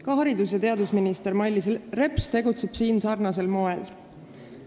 Ka haridus- ja teadusminister Mailis Reps tegutseb siin sarnasel moel.